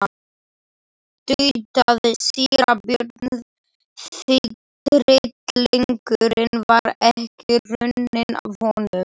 tautaði síra Björn því tryllingurinn var ekki runninn af honum.